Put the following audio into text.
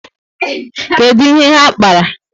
Kedu ihe ha kpara?